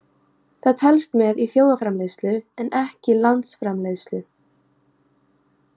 Það telst með í þjóðarframleiðslu en ekki landsframleiðslu.